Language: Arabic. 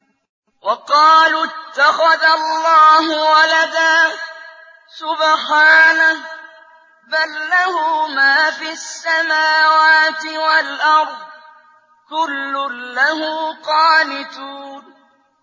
وَقَالُوا اتَّخَذَ اللَّهُ وَلَدًا ۗ سُبْحَانَهُ ۖ بَل لَّهُ مَا فِي السَّمَاوَاتِ وَالْأَرْضِ ۖ كُلٌّ لَّهُ قَانِتُونَ